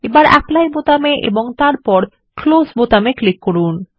এখন অ্যাপলি বোতামে ক্লিক করুন এবং তারপর ক্লোজ বোতামে ক্লিক করুন